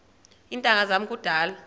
iintanga zam kudala